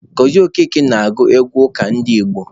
Gozie Okeke na-agụ egwu ụka ndị Igbo.